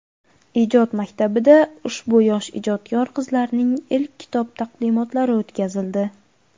Ijod maktabida ushbu yosh ijodkor qizlarning ilk kitob taqdimotlari o‘tkazildi.